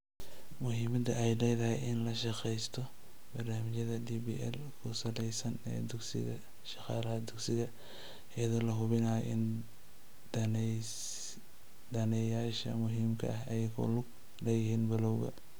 Muhiimadda ay leedahay in la naqshadeeyo barnaamijyada DPL-ku-saleysan ee dugsiga shaqaalaha dugsiga, iyadoo la hubinayo in daneeyayaasha muhiimka ah ay ku lug leeyihiin bilowga.